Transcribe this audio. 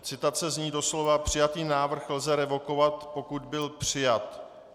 Citace zní doslova: Přijatý návrh lze revokovat, pokud byl přijat.